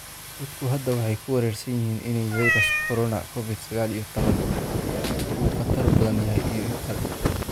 Dadku hadda way ku wareersan yihiin in fayraska corona Covid-sagal iyo toban uu ka khatar badan yahay iyo in kale.